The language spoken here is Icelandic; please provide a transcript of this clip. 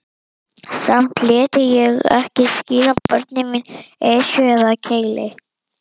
Samt léti ég ekki skíra börnin mín Esju eða Keili.